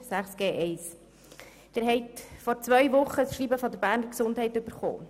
Sie haben vor zwei Wochen das Schreiben der Beges erhalten.